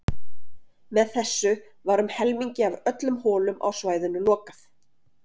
Með þessu var um helmingi af öllum holum á svæðinu lokað.